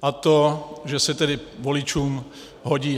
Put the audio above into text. A to, že se tedy voličům hodí.